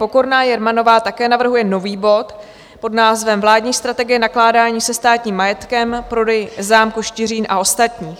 Pokorná Jermanová také navrhuje nový bod pod názvem Vládní strategie nakládání se státním majetkem, prodej zámku Štiřín a ostatní.